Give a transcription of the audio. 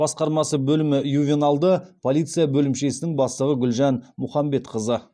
басқармасы бөлімі ювеналды полиция бөлімшесінің бастығы гүлжан мұхамбетқызы